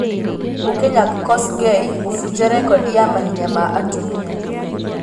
Mũkenya Kosgei kũbunja rekodi ya mahenya ma atumia